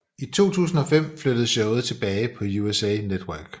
I 2005 flyttede showet tilbage på USA Network